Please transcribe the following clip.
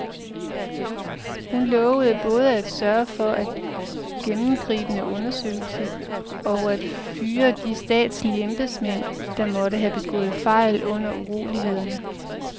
Hun lovede både at sørge for en gennemgribende undersøgelse og at fyre de statslige embedsmænd, der måtte have begået fejl under urolighederne.